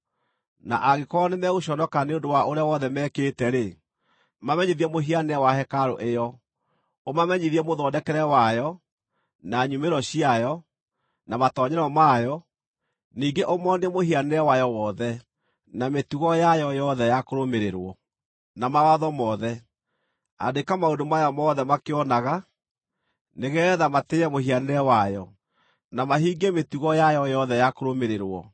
na angĩkorwo nĩmegũconoka nĩ ũndũ wa ũrĩa wothe mekĩte-rĩ, mamenyithie mũhianĩre wa hekarũ ĩyo, ũmamenyithie mũthondekere wayo, na nyumĩro ciayo, na matoonyero mayo, ningĩ ũmoonie mũhianĩre wayo wothe, na mĩtugo yayo yothe ya kũrũmĩrĩrwo, na mawatho mothe. Andĩka maũndũ maya mothe makĩonaga, nĩgeetha matĩĩe mũhianĩre wayo, na mahingie mĩtugo yayo yothe ya kũrũmĩrĩrwo.